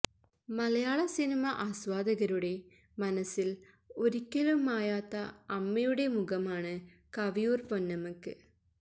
മലയാള cinema ആസ്വാദകരുടെ മനസിൽ ഒരിക്കലും മായാത്ത അമ്മയുടെ മുഖമാണ് കവിയൂർ പൊന്നമ്മക്ക്